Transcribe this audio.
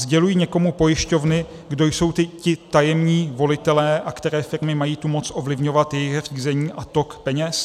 Sdělují někomu pojišťovny, kdo jsou ti tajemní volitelé a které firmy mají tu moc ovlivňovat jejich řízení a tok peněz?